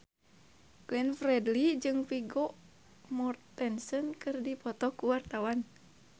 Glenn Fredly jeung Vigo Mortensen keur dipoto ku wartawan